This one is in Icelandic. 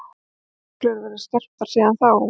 Hafa reglurnar verið skerptar síðan þá?